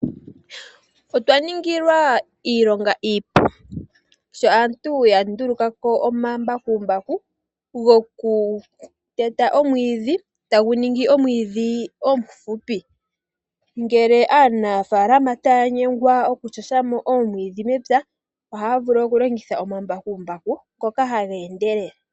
Otwa ningilwa iilonga iipu sho aantu ya nduluka ko omambakumbaku gokuteta omwiidhi, tagu ningi omwiidhi omufupi. Ngele aanafalama taya nyengwa okuteta mo oomwiidhi mepya, ohaya vulu okulongitha omambakumbaku ngoka haga endelele.